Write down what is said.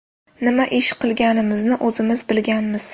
Nima ish qilganimizni o‘zimiz bilmaganmiz.